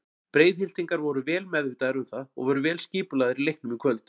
Breiðhyltingar voru vel meðvitaðir um það og voru vel skipulagðir í leiknum í kvöld.